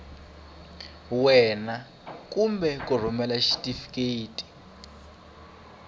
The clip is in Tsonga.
wena kumbe ku rhumela xitifiketi